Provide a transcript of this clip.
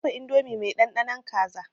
Na dafa indomi mai ɗanɗanon kaza.